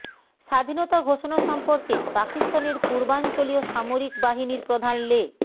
স্বাধীনতা ঘোষণা সম্পর্কে পাকিস্তানের পূর্বাঞ্চলীয় সামরিক বাহিনীর প্রধান লে